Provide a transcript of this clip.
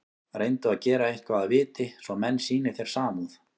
Reyndu að gera eitthvað að viti, svo menn sýni þér samúð.